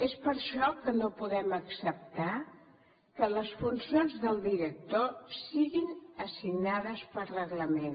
és per això que no podem acceptar que les funcions del director siguin assignades per reglament